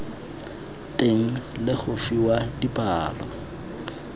teng le go fiwa dipalo